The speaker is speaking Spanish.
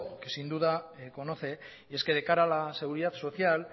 que sin duda conoce y es que de cara a la seguridad social